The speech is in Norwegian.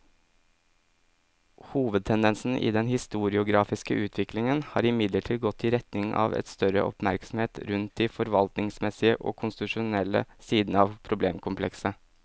Hovedtendensen i den historiografiske utviklingen har imidlertid gått i retning av større oppmerksomhet rundt de forvaltningsmessige og konstitusjonelle sidene av problemkomplekset.